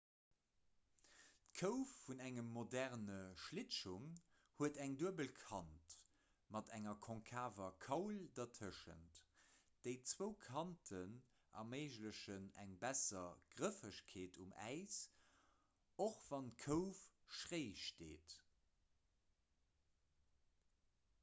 d'kouf vun engem moderne schlittschong huet eng duebel kant mat enger konkaver kaul dertëschent déi zwou kanten erméiglechen eng besser grëffegkeet um äis och wann d'kouf schréi steet